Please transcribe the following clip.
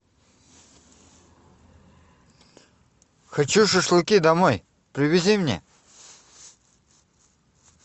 хочу шашлыки домой привези мне